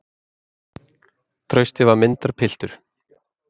Trausti var myndarpiltur.